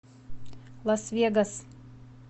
лас вегас